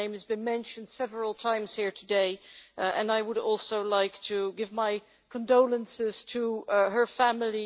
Her name has been mentioned several times here today and I would also like to give my condolences to her family.